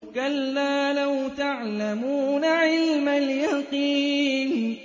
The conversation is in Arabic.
كَلَّا لَوْ تَعْلَمُونَ عِلْمَ الْيَقِينِ